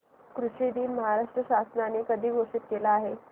कृषि दिन महाराष्ट्र शासनाने कधी घोषित केला आहे